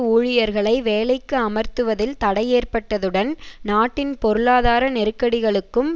ஊழியர்களை வேலைக்கு அமர்த்துவதில் தடையேற்பட்டதுடன் நாட்டின் பொருளாதார நெருக்கடிகளுக்கும்